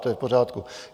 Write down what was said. To je v pořádku.